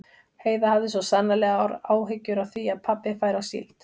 Heiða hafði svo sannarlega áhyggjur af því að pabbi færi á síld.